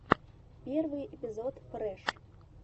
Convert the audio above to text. первый эпизод фрэш